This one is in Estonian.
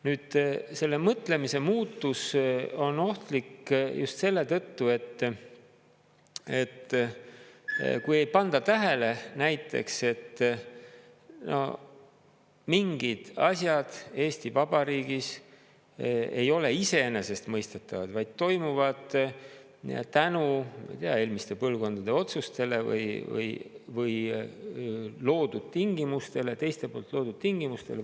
Nüüd, selle mõtlemise muutus on ohtlik just selle tõttu, et kui ei panda tähele näiteks, et mingid asjad Eesti Vabariigis ei ole iseenesestmõistetavad, vaid toimuvad tänu eelmiste põlvkondade otsustele või loodud tingimustele, teiste poolt loodud tingimustele.